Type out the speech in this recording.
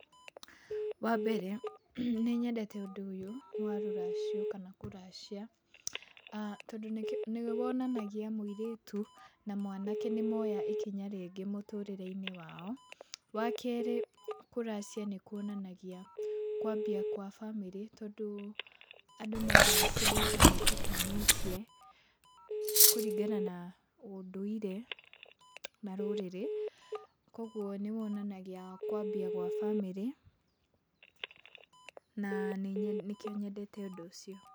Wa mbere nĩnyendete ũndũ ũyũ wa rũracio kana kũracia, aah tondũ nĩwonanagia mũirĩtu na mwanake nĩmoya ikinya rĩngĩ mũtũrĩre-inĩ wao. Wa kerĩ, kũracia nĩkuonanagia kwambia kwa bamĩrĩ, tondũ andũ maracia nĩtamahikanĩtie kũrĩngana na ũndũire na rũrĩrĩ. Koguo nĩwonanagia kwambia gwa bamĩrĩ na nĩkĩo nyendete ũndũ ũcio.